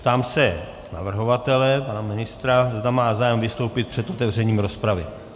Ptám se navrhovatele, pana ministra, zda má zájem vystoupit před otevřením rozpravy.